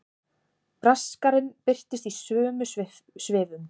Braskarinn birtist í sömu svifum.